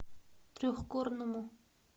трехгорному